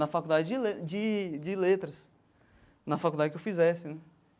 Na faculdade de le de de letras, na faculdade que eu fizesse, né?